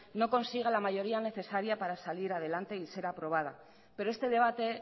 no consiga la mayoría necesaria para salir adelante y ser aprobada pero este debate